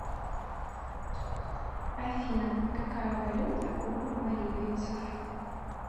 афина какая валюта у боливийцев